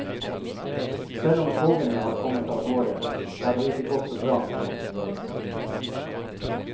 Selv om togene har kommet av gårde, har det ikke gått så bra med dem underveis.